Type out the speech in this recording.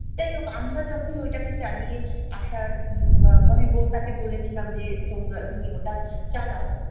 যাইহোক আমরা যখন ওইটাকে চালিয়ে আসার উম মানে তাকে বলেছিলাম যে তোমরা তুমি ওটা চালাও